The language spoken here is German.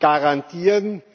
garantieren.